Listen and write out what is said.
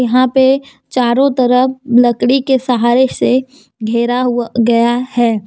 यहां पे चारों तरफ लकड़ी के सहारे से घेरा गया है।